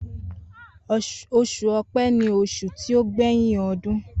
Osùn ọpẹ ni osun ti o gbẹyin ọdún.